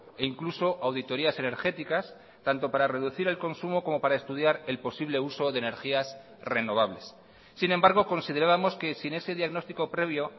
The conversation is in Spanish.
e incluso auditorias energéticas tanto para reducir el consumo como para estudiar el posible uso de energías renovables sin embargo considerábamos que sin ese diagnóstico previo